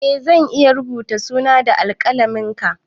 Eh zan iya rubuta suna na da alƙalamin ka